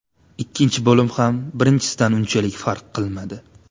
Ikkinchi bo‘lim ham birinchisidan unchalik farq qilmadi.